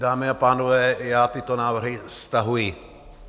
Dámy a pánové, já tyto návrhy stahuji.